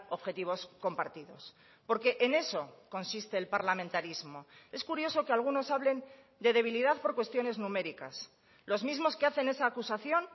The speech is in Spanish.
objetivos compartidos porque en eso consiste el parlamentarismo es curioso que algunos hablen de debilidad por cuestiones numéricas los mismos que hacen esa acusación